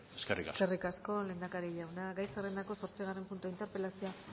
eskerrik asko eskerrik asko lehendakari jauna gai zerrendako zortzigarren puntua interpelazioa